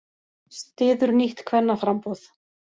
Styður nýtt kvennaframboð